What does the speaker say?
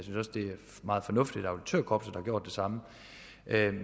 meget fornuftigt at auditørkorpset har gjort det samme